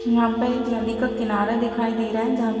यहाँ पे एक नदी का किनारा दिखाई दे रहा है जहां --